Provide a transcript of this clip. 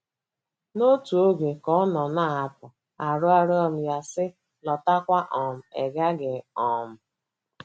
N’otu oge, ka ọ nọ na - apụ, arịọrọ m ya, sị, Lọtakwa um, ị̀ gaghị um